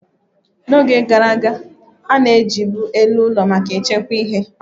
Na oge gara aga, a na ejibu elu ụlọ maka echekwa ihe